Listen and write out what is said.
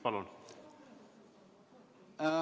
Palun!